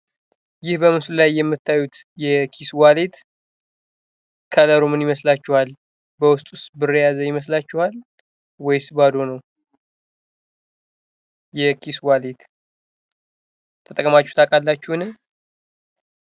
ይህ በምስሉ ላይ የምታዩት የኪስ ዋሌት ከለሩ ምን ይመስላቹሃል? በዉስጡስ ብር የያዘ ይመስላቹሃል ? ወይስ ባዶ ነው? የኪስ ዋሌት ተጠቅማቹህ ታዉቃላቹህን?